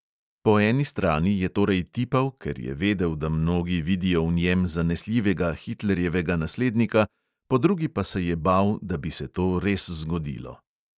Po eni strani je torej tipal, ker je vedel, da mnogi vidijo v njem zanesljivega hitlerjevega naslednika, po drugi pa se je bal, da bi se to res zgodilo.